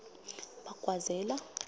bagwazela